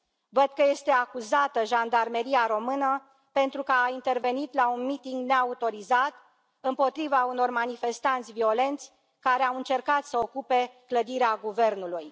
Văd că este acuzată Jandarmeria română pentru că a intervenit la un miting neautorizat împotriva unor manifestanți violenți care au încercat să ocupe clădirea Guvernului.